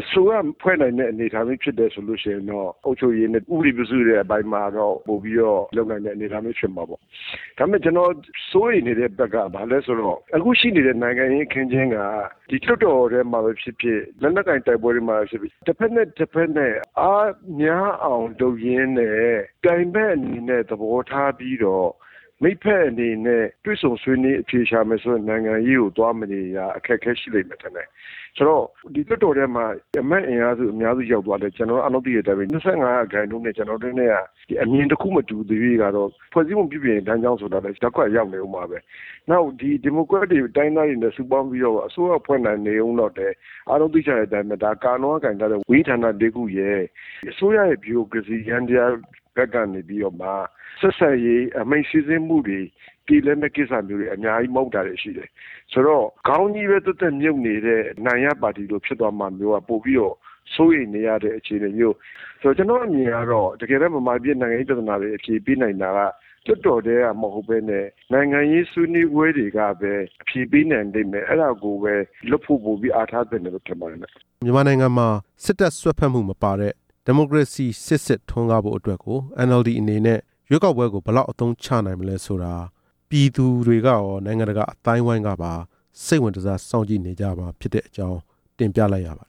အစိုးရဖွဲ့နိုင်တဲ့ အနေအထားမျိုးဖြစ်တယ်ဆိုရင်တော့ အုပ်ချုပ်ရေးနဲ့ ဥပဒေပြုနိုင်ရေးအပိုင်းတွေမှာတော့ လုပ်နိုင်မယ့်အနေအထားမျိုးဖြစ်ပါတယ်၊ ဒါပေမယ့် ကျနော်စိုးရိမ်နေတဲ့ဘက်က ဘာလဲဆိုတော့ အခုရှိနေတဲ့ နိုင်ငံရေးအခင်းအကျင်းက ဒီလွှတ်တော်ထဲမှပဲဖြစ်ဖြစ် လက်နက်ကိုင်တိုက်ပွဲတွေမှာပဲဖြစ်ဖြစ် တစ်ဘက်နဲ့တစ်ဘက် အားများအောင်လုပ်ရင်းနဲ့ ပြိုင်ဘက်အနေနဲ့သဘောထားပြီးတော့ မိတ်ဘက်အနေနဲ့ တွေ့ဆုံဆွေးနွေး အဖြေရှာမယ်ဆိုတဲ့ နိုင်ငံရေးကို သွားမနေတာအခက်အခဲရှိလိမ့်မယ်ထင်တယ်၊ ဆိုတော့ ဒီလွှတ်တော်တွင်းမှာ အမတ်အင်အားအများစုရောက်သွားလည်း ကျနော်ကအဲ့ဒီလောက်အထိ ၂၅ ရာခိုင်နှုန်းနဲ့ ကျနော်တို့က အမြင်တစ်ခုနဲ့တစ်ခု မတူသရွေ့ကတော့ ဖွဲ့စည်းပုံပြုပြင်ရေးလမ်းကြောင်းဆိုတာက ရပ်ကွက်ကိုရောက်နေဦးမှာပဲ၊ နောက်ဒီမိုကရက်တစ် တိုင်ရင်းသားတွေနဲ့ စုပေါင်းပြီးတော့မှ အစိုးရဖွဲ့နိုင်နေဦးတော့လည်း အားလုံးသိကြတဲ့အတိုင်းပဲ ကာလောကိုင်ထားတဲ့ ဝန်ကြီးဌာန ၄ ခုရယ်၊ အစိုးရရဲ့ဗျူရိုကရေစီ ယန္တရားဘက်ကနေပြီးတော့မှ ဆက်ဆံရေးအမိန့်စစ်ဆေးမှုတွေ မပြေလည်တဲ့ကိစ္စမျိုးတွေ အများကြီး မဟုတ်တာတွေရှိတယ်၊ ဆိုတော့ ခေါင်းကြီးပဲသက်သက်မြုပ်နေတဲ့ အနိုင်ရပါတီလိုဖြစ်သွားမှာမျိုးက ပိုပြီးတော့စိုးရိမ်နေရတဲ့အခြေအနေမျိုးလို့ ကျနော်အမြင်ကတော့ တစ်ကယ်လည်း မြန်မာပြည်နိုင်ငံရေးပြဿနာတွေ အဖြေပေးနိုင်တာက လွှတ်တော်ထဲကမဟုတ်ပဲနဲ့ နိုင်ငံရေးဆွေးနွေးပွဲတွေကပဲ အဖြေပေးနိုင်လိမ့်မယ် အဲ့ဒါကိုပဲလုပ်ဖို့ပိုပြီးအားထားသင့်တယ်လို့ ထင်ပါတယ်ဗျ။ မြန်မာနိုင်ငံမှာ စစ်တပ်စွက်ဖက်မှုမပါတဲ့ ဒီမိုကရေစီစစ်စစ်ထွန်းကားဖို့အတွက် NLD အနေနဲ့ ရွေးကောက်ပွဲကို ဘယ်လောက်အသုံးချနိုင်မလဲဆိုတာ ပြည်သူတွေကရော နိုင်ငံတကာအသိုင်းအဝိုင်းကပါ စိတ်ဝင်တစား စောင့် ကြည့်နေကြမှာဖြစ်တဲ့အကြောင်း တင်ပြလိုက်ရပါ